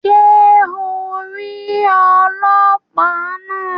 Ṣe o ń ríi ọlọpa náa?